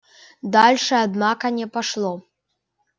дальше однако не пошло